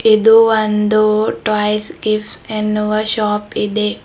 ಇದು ಒಂದು toys gifts ಎನ್ನುವ ಶಾಪ್ ಇದೆ.